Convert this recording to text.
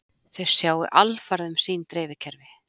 Þau sjái alfarið um sín dreifikerfi